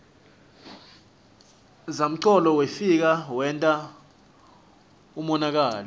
zamcolo wefika wenta umonakalo